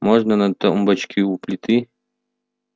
можно на тумбочке у плиты